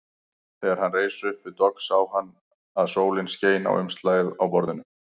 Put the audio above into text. Þegar hann reis upp við dogg sá hann að sólin skein á umslagið á borðinu.